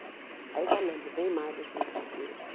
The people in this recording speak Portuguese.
Aí já lembro bem mais das brincadeiras.